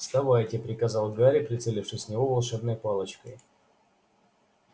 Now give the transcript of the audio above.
вставайте приказал гарри прицелившись в него волшебной палочкой